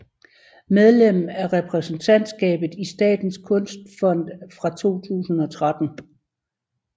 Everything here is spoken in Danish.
Medlem af repræsentantskabet i Statens kunstfond fra 2013